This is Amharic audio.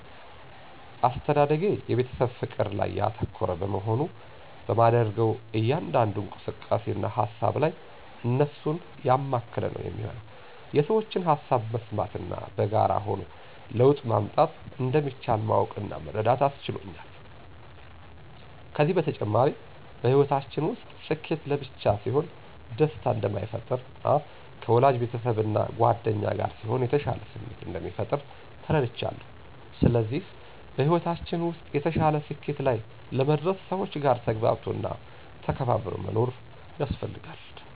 አስተዳደጌ የቤተሰብ ፍቅር ላይ ያተኮረ በመሆኑ በማደርገው እያንዳንዱ እንቅስቃሴ እና ሃሳብ ላይ እነሱን ያማከለ ነው የሚሆነው። የሠዎችን ሃሳብ መስማት እና በጋራ ሆኖ ለውጥ ማምጣት እንደሚቻል ማወቅ እና መረዳት አስችሎኛል። ከዚም በተጨማሪ በሕይወታችን ውስጥ ስኬት ለብቻ ሲሆን ደስታ እንደማይፈጥር እና ከወዳጅ ቤተሰብ እና ጉአደኛ ጋር ሲሆን የተሻለ ስሜት እንደሚፈጥር ተረድቻለው። ስለዚህ በሕይወታችን ውስጥ የተሻለ ስኬት ላይ ለመድረስ ሰዎች ጋር ተግባብቶ እና ተከባብሮ መኖር ያስፈልጋል።